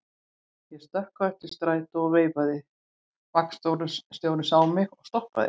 Ég stökk á eftir strætó og veifaði, vagnstjórinn sá mig og stoppaði.